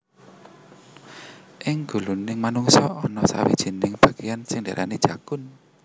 Ing guluning manungsa ana sawijining bagéan sing diarani jakun